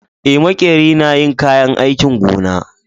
Eh, makeri na yin kayan aikin gona.